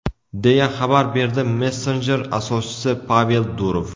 deya xabar berdi messenjer asoschisi Pavel Durov.